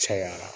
Cayara